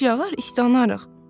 yağış yağar, istanarıq.